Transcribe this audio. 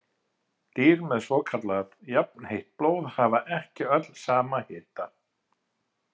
Dýr með svokallað jafnheitt blóð hafa ekki öll sama hita.